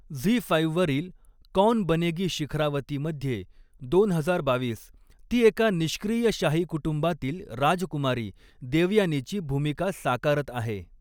Zee five वरील 'कौन बनेगी शिखरावती'मध्ये दोन हजार बावीस ती एका निष्क्रिय शाही कुटुंबातील राजकुमारी, देवयानीची भूमिका साकारत आहे.